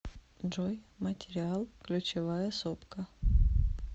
джой материал ключевая сопка